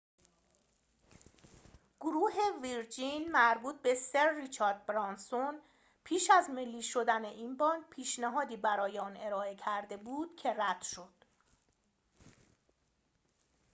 گروه ویرجین مربوط به سر ریچارد برانسون پیش از ملی شدن این بانک پیشنهادی برای آن ارائه کرده بود که رد شد